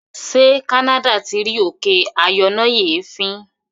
ṣe canada tí rí òkè ayọnáyèéfín?